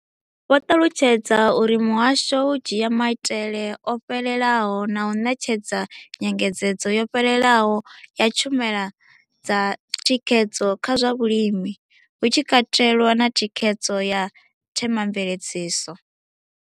Vho ṱalutshedza uri muhasho u dzhia maitele o fhelelaho na u ṋetshedza nyengedzedzo yo fhelelaho ya tshumelo dza thikhedzo kha zwa vhulimi, hu tshi katelwa na thikhedzo ya themamveledziso.